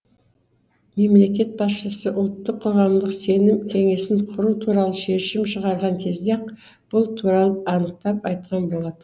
мемлекет басшысы ұлттық қоғамдық сенім кеңесін құру туралы шешім шығарған кезде ақ бұл туралы анықтап айтқан болатын